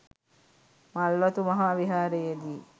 මල්වතු මහා විහාරයේදී